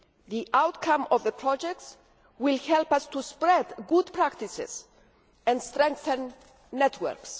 The outcome of the projects will help us to spread good practices and strengthen networks.